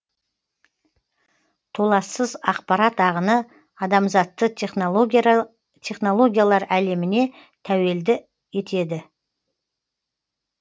толассыз ақпарат ағыны адамзатты технологиялар әлеміне тәуелді етеді